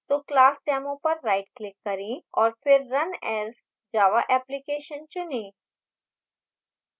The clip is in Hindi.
तो class demo पर right click करें और फिर run as> java application चुनें